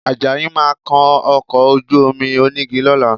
Àjàyí máa kan ọkọ̀ ojú-omi onígi lọ́la